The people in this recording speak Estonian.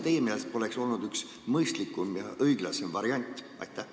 Kas see poleks teie meelest mõistlikum ja õiglasem variant olnud?